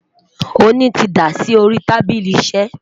oni tí dá sórí tábìlì iṣé